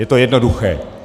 Je to jednoduché.